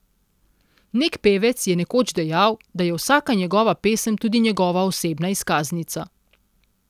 Nek pevec je nekoč dejal, da je vsaka njegova pesem tudi njegova osebna izkaznica.